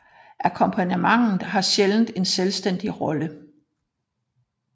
Akkompagnementet har sjældent en selvstændig rolle